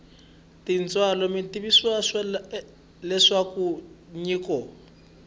tintswalo mi tivisiwa leswaku nyiko